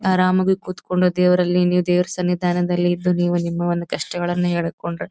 ಆರಾಮಾಗಿ ಕುತ್ಕೊಂಡು ದೇವರಲ್ಲಿ ನೀವ್ ದೇವರ ಸನ್ನಿಧಾನದಲ್ಲಿ ಇದ್ದು ನೀವು ನಿಮ್ಮ ಒಂದು ಕಷ್ಟಗಳನ್ನು ಹೇಳಿಕೊಂಡರೆ --